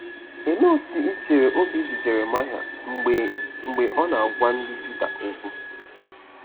Olee otú i chere obi dị Jeremaya mgbe mgbe ọ na-agwa ndị Juda okwu?